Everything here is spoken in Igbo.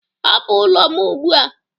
hapụ ụlọ m ugbu a!